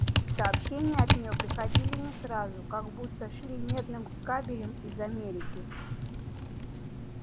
сообщения от неё приходили не сразу как будто шли медным кабелем из америки